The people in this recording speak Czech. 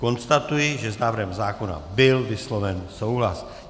Konstatuji, že s návrhem zákona byl vysloven souhlas.